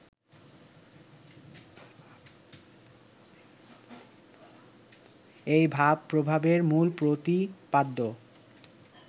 এই ভাবপ্রবাহের মূল প্রতিপাদ্য